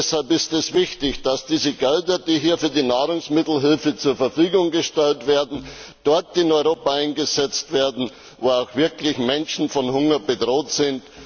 Deshalb ist es wichtig, dass diese Gelder, die hier für die Nahrungsmittelhilfe zur Verfügung gestellt werden, dort in Europa eingesetzt werden, wo auch wirklich Menschen von Hunger bedroht sind.